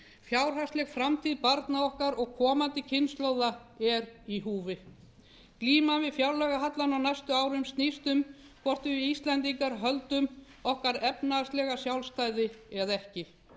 fjárhagsleg framtíð barna okkar og komandi kynslóða er í húfi glíman við fjárlagahallann á næstu árum snýst um það hvort við íslendingar höldum okkar efnahagslega sjálfstæði eða ekki